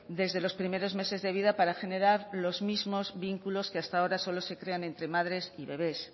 desde los primeros meses de vida para generar los mismos vínculos que hasta ahora solo se crean entre madres y bebes